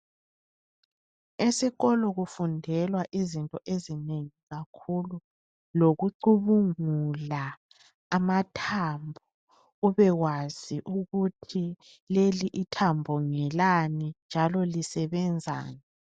Esikolo kufundelwa izinto ezinengi kakhulu. Lokucubungula amathambo ubewazi ukuthi leli ithambo ngelani njalo lisebenzani.